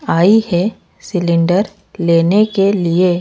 आई है सिलेंडर लेने के लिए--